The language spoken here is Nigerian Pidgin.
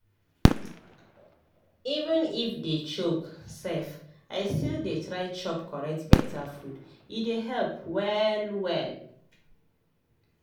even if day choke sef i still dey try chop correct beta food e dey help well well.